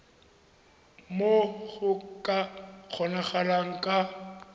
moo go ka kgonagalang ka